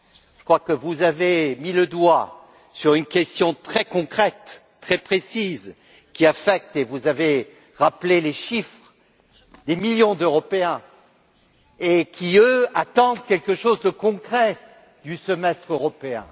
Je crois que vous avez mis le doigt sur une question très concrète, très précise, qui affecte et vous avez rappelé les chiffres des millions d'Européens qui, eux, attendent quelque chose de concret du Semestre européen.